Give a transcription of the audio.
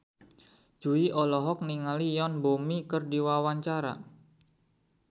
Jui olohok ningali Yoon Bomi keur diwawancara